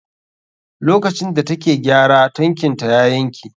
Lokacin da take gyara tankin ta yanke?